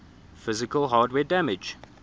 physical hardware damage